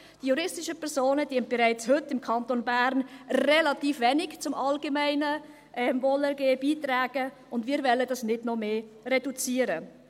Die juristischen Personen tragen bereits heute im Kanton Bern relativ wenig zum allgemeinen Wohlergehen bei, und dies wollen wir nicht noch mehr reduzieren.